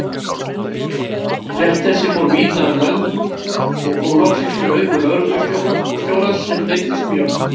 Frétt þessi fór víða um lönd og kom loks fyrir augu lögreglustjórans, sem reiddist mjög.